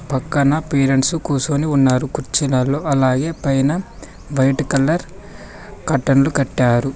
పక్కన పేరెంట్స్ కుసోని ఉన్నారు కుర్చీలల్లో అలాగే పైన వైట్ కలర్ కర్టన్లు కట్టారు.